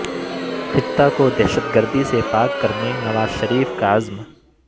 خطہ کو دہشت گردی سے پاک کرنے نواز شریف کا عزم